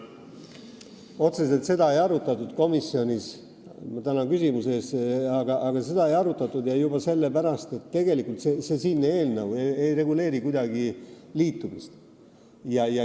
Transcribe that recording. Otseselt seda komisjonis ei arutatud, juba sellepärast, et tegelikult siinne eelnõu ei reguleeri kuidagi liitumist.